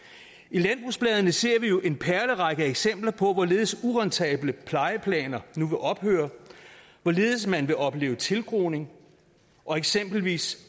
landbrugsbladene ser vi jo en perlerække af eksempler på hvorledes urentable plejeplaner nu vil ophøre hvorledes man vil opleve tilgroning og eksempelvis